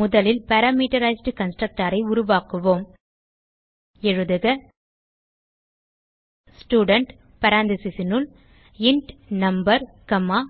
முதலில் parameterized constructor ஐ உருவாக்குவோம் எழுதுக ஸ்டூடென்ட் parenthesesனுள் இன்ட் நம்பர் காமா